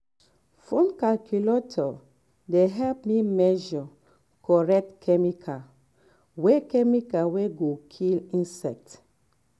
phone calculator dey um help me measure um correct chemical wey chemical wey go kill um insect.